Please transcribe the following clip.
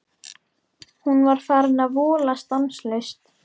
Hún var farin að vola stanslaust.